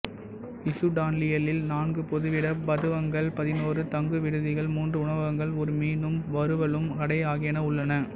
இசுடான்லியில் நான்கு பொதுவிட மதுவகங்கள் பதினோரு தங்குவிடுதிகள் மூன்று உணவகங்கள் ஒரு மீனும் வறுவலும் கடை ஆகியன உள்ளன